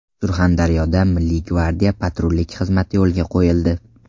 Surxondaryoda Milliy gvardiya patrullik xizmati yo‘lga qo‘yildi.